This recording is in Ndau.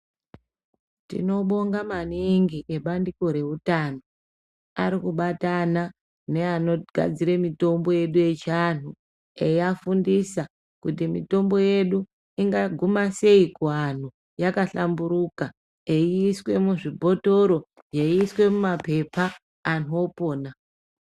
Tinobonga maningi bandiko rehutano arikubata ana neanogadzira mitombo yechiandu eivafundisa kuti mitombo yedu ingaguma sei kuantu yakahlamburika eiswa muzvibhotoro yeiswa mumapepa antu opona.